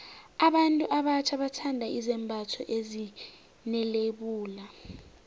abantu abatjha bathanda izembatho ezine lebula